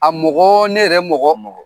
A mɔgɔ ne yɛrɛ mɔgɔ.